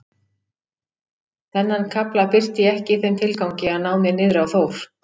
Þennan kafla birti ég ekki í þeim tilgangi að ná mér niðri á Þór